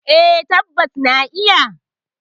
Eh, tabbas na nayi.